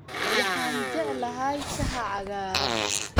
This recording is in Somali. Waxaan jeclahay shaaha cagaaran